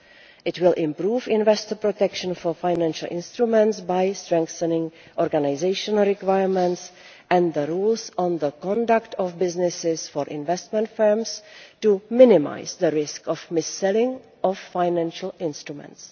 It will improve investor protection for financial instruments by strengthening organisational requirements and the rules on the conduct of businesses for investment firms to minimise the risk of mis selling of financial instruments.